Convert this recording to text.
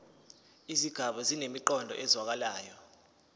izigaba zinemiqondo ezwakalayo